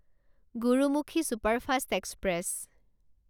Gurmukhi superfast express